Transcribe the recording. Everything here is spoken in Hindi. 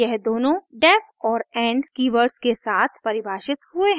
यह दोनों का def और end कीवर्ड्स के साथ परिभाषित हुए हैं